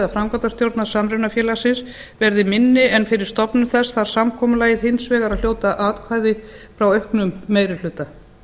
framkvæmdastjórnar samrunafélagsins verði minni en fyrir stofnun þess þarf samkomulagið hins vegar að hljóta atkvæði frá auknum meiri hluta